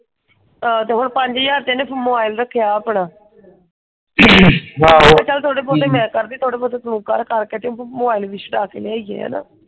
ਏਹੋ ਤੇ ਹੁਣ ਪੰਜ ਹਜਾਰ ਦੇ ਇਹਨੇ ਮੋਬਾਈਲ ਰਖਿਆ ਆਪਣਾ ਤੇ ਚਲ ਥੋੜੇ ਬਹੁਤੇ ਮੈਂ ਕਰਦੀ ਥਪੋਡੇ ਬਹੁਤੇ ਤੂੰ ਕਰ ਕਰਕੇ ਤੇ ਮੋਬਾਈਲ ਲਿਆਈ ਹੈ।